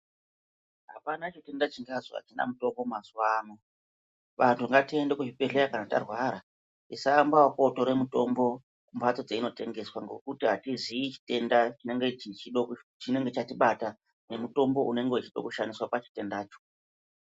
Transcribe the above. Hapana chitenda chigazi hachina mutombo mazuvano antu ngatiende kuzvibhedhlera kana tarwara tisaamba nekutora mutombo kumbatso kwedzinotengeswa ngekuti hatiziyi chinenge chatibata nemutombo unenge uchida kushandiswa pachitendacho.